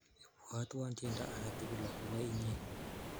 Ibwotwon tyendo ake tukul akopo inye.